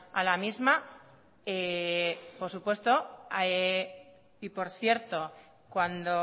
a la misma por supuesto y por cierto cuando